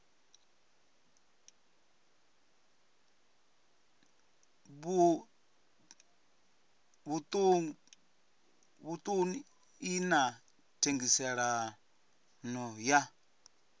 vhuṱun ḓi na thengiselonn ḓa